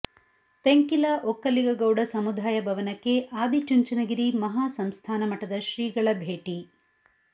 ತೆಂಕಿಲ ಒಕ್ಕಲಿಗ ಗೌಡ ಸಮುದಾಯ ಭವನಕ್ಕೆ ಆದಿ ಚುಂಚನಗಿರಿ ಮಹಾಸಂಸ್ಥಾನ ಮಠದ ಶ್ರೀಗಳ ಭೇಟಿ